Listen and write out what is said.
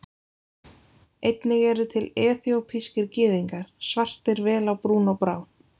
Einnig eru til eþíópískir Gyðingar, svartir vel á brún og brá.